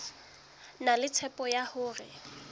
na le tshepo ya hore